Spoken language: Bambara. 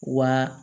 Wa